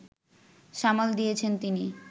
সামাল দিয়েছেন তিনি